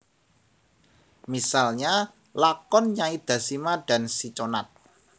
Misalnya lakon Nyai Dasima dan Si Conat